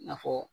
I n'a fɔ